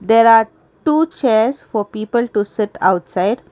there are two chairs for people to sit outside.